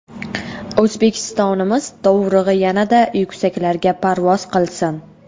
O‘zbekistonimiz dovrug‘i yanada yuksaklarga parvoz qilsin.